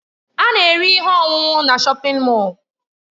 A na-ere ihe ọṅụṅụ na Shọpin Mọll.